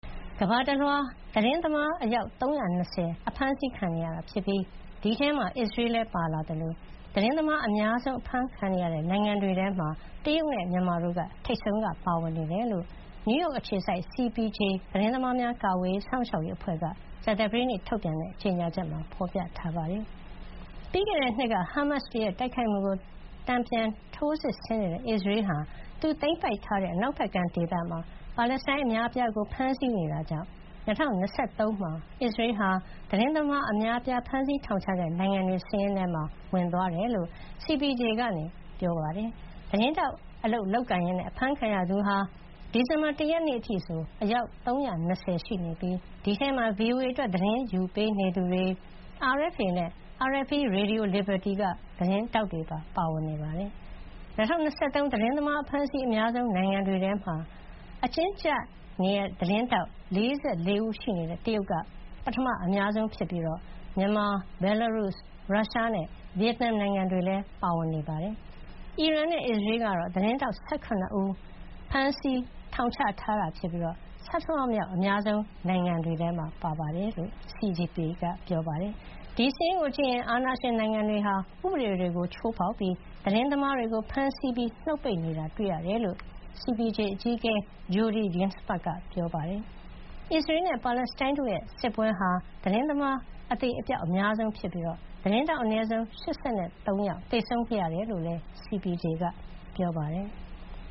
ကမ္ဘာတလွှား သတင်းသမားအယောက် ၃၂၀ အဖမ်းဆီးခံနေရပြီး ဒီအထဲမှာ အစ္စရေးလည်း ပါဝင်လာသလို သတင်းသမား အများဆုံး အဖမ်းခံနေရတဲ့ နိုင်ငံတွေထဲမှာတော့ တရုတ်နဲ့ မြန်မာတို့က ထိပ်ဆုံးက ပါဝင်နေတယ်လို့ နယူးရောက် အခြေစိုက် CPJ သတင်းသမားများ ကာကွယ်စောင့်ရှောက်ရေးအဖွဲ့က ကြာသပတေးနေ့ ထုတ်ပြန်တဲ့ ကြေညာချက်မှာ ဖေါ်ပြထားပါတယ်။ ပြီးခဲ့တဲ့နှစ်က ဟားမတ်စ်တွေရဲ့ တိုက်ခိုက်မှုကို တုံ့ပြန်ထိုးစစ်ဆင်နေတဲ့ အစ္စရေးဟာ သူသိမ်းပိုက်ထားတဲ့ အနောက်ဘက်ကမ်းဒေသမှာ ပါလက်စတိုင်း အများအပြားကို ဖမ်းဆီးနေတာကြောင့် ၂၀၂၃ မှာ အစ္စရေးဟာ သတင်းသမားအများအပြားကို ဖမ်းဆီးထောင်ချတဲ့နိုင်ငံတွေထဲမှာ ထိပ်ဆုံးရောက်သွားတယ်လို့ CPJ ကပြောပါတယ်။ သတင်းထောက်အလုပ်လုပ်ရင်း အဖမ်းခံရသူဟာ ဒီဇင်ဘာ ၁ ရက်နေ့အထိဆို ယောက် ၃၂၀ ရှိနေပြီး ဒီအထဲမှာ VOA အတွက် သတင်းယူပေးနေသူတွေ၊ RFA နဲ့ RFE /Radio Liberty က သတင်းထောက်တွေပါ ပါဝင်နေတာပါ။ ၂၀၂၃ သတင်းသမား အဖမ်းအဆီးအများဆုံးနိုင်ငံတွေထဲမှာ အကျဉ်းကျနေတဲ့ သတင်းထောက် ၄၄ ဦးရှိနေတဲ့ တရုတ်က ပထမအများဆုံးဖြစ်ပြီး မြန်မာ၊ ဘယ်လ်လာရုစ်၊ ရုရှားနဲ့ ဗီယက်နမ် နိုင်ငံတွေလည်း ပါဝင်နေပါတယ်။ အီရန်နဲ့ အစ္စရေးကတော့ သတင်းထောက် ၁၇ ဦးစီ ဖမ်းဆီး ထောင်ချထားတာ ဖြစ်ပြီး ဆဌမမြောက် အများဆုံး နိုင်ငံတွေ ဖြစ်တယ်လို့ CPJ က ပြောပါတယ်။ ဒီစာရင်းကိုကြည့်ရင် အာဏာရှင်နိုင်ငံတွေဟာ ဥပဒေတွေကို ချိုးဖေါက်ပြီး သတင်းသမားတွေကို ဖမ်းဆီးပြီး နှုတ်ပိတ်နေတာ တွေ့ရတယ်လို့ CPJ အကြီးအကဲ Jodie Ginsberg က ပြောပါတယ်။ အစ္စရေးနဲ့ ပါလက်စတိုင်းတို့ရဲ့ စစ်ပွဲဟာ သတင်းသမား အသေအပျောက် အများဆုံး ဖြစ်ပြီး သတင်းထောက် အနည်းဆုံး ၈၃ ယောက် သေဆုံးခဲ့ရတယ်လို့လည်း CPJ က ပြောပါတယ်။